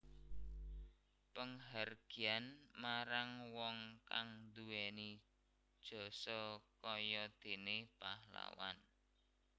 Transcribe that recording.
Panghargyan marang wong kang duwéni jasa kaya déné pahlawan